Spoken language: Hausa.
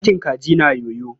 Ɗakin kaji na yoyo.